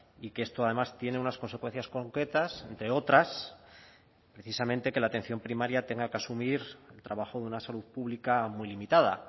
y que esto además tiene unas consecuencias concretas de otras precisamente que la atención primaria tenga que asumir trabajo de una salud pública muy limitada